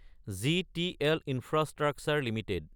GTL Infrastructure Ltd